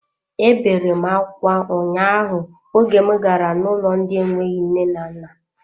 Ebere m akwa ụnyaahụ oge m gara n'ụlọ ndị na enweghị nne na nna.